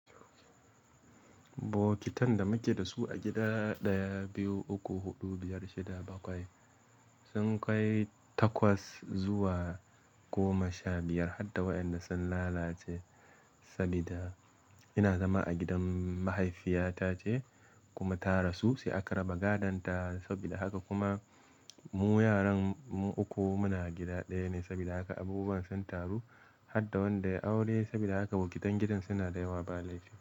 Bokitan da muke da su a gida ɗaya, biyu, uku, huɗu, biyar, shida, bakwai sun kai takwas zuwa goma sha biyar har wanda sun lalace sabida ina zama a gidan mahaifiyata ce kuma ta rasu sai aka raba gadonta sabida haka kuma mu yaran mu uku muna gida ɗaya ne sabida haka abubuwan sun taru har wanda ya aure sabida haka bokitan gidan suna da yawa ba laifi.